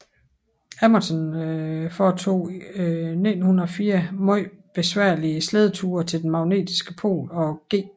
Amundsen foretog 1904 meget besværlige slædeture til den magnetiske pol og G